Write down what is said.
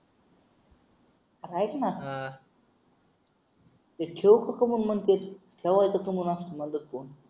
हा ऐक ना हा ते ठेऊ कुठे म्हणत्यात ठेवायच